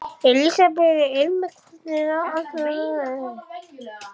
Elísabet: Einmitt, hvernig er annars að vera í gæslunni?